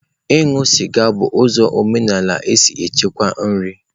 Ịṅụ sịga bụ ụzọ omenala si echekwa nri.